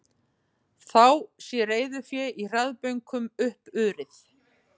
Þá sé reiðufé í hraðbönkum uppurið